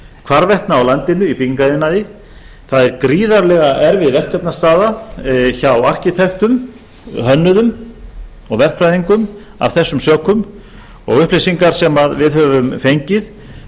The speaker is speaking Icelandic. hvarvetna á landinu í byggingariðnaði það er gríðarlega erfið verkefnastaða hjá arkitektum hönnuðum og verkfræðingum af þessum sökum og upplýsingar sem við höfum fengið